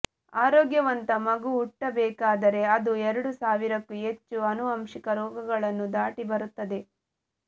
ಆರೋಗ್ಯವಂತ ಮಗು ಹುಟ್ಟಬೇಕಾದರೆ ಅದು ಎರಡು ಸಾವಿರಕ್ಕೂ ಹೆಚ್ಚು ಅನುವಂಶಿಕ ರೋಗಗಳನ್ನು ದಾಟಿಬರುತ್ತದೆ